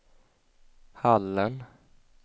Hallen